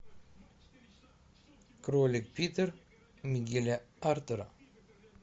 кролик питер мигеля артура